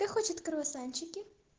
кто хочет круасанчики